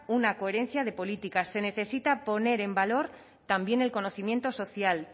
una coherencia de políticas se necesita poner en valor también el conocimiento social